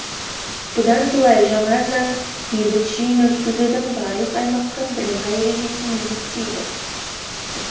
бұдан былай жаңа заң бейбіт жиын өткізудің барлық аймаққа бірыңғай ережесін міндеттейді